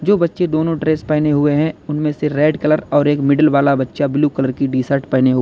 जो बच्चे दोनों ड्रेस पहने हुए हैं उनमें से रेड कलर और एक मिडिल वाला बच्चा ब्लू कलर की टी शर्ट पहने हुआ--